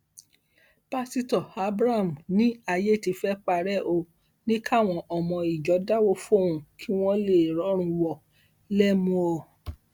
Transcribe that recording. pásítọ abraham ní ayé ti fẹẹ parẹ ó ní káwọn ọmọ ìjọ dáwọ fóun kí wọn lè rọrùn wò lẹmùọ